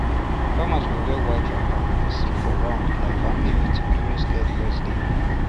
farmers go wear white wrapper and sit for round like family meeting during sacred rest day